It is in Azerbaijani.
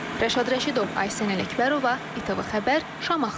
Rəşad Rəşidov, Aysən Ələkbərova, İTV Xəbər, Şamaxı.